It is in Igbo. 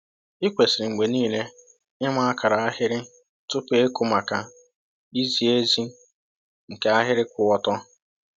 Ị kwesịrị mgbe niile ịma akara ahịrị tupu ịkụ maka izi ezi nke ahịrị kwụ ọtọ.